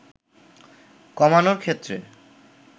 কমানোর ক্ষেত্রে